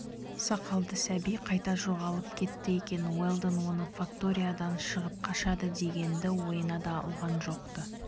сақалды сәби қайда жоғалып кетті екен уэлдон оны факториядан шығып қашады дегенді ойына да алған жоқ-ты